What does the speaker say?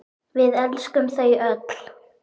Við elskum þau öll.